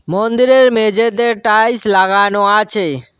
মন্দিরের মেঝেতে টাইলস লাগানো আছে।